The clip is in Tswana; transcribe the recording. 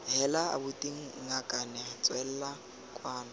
heela abuti ngakane tswela kwano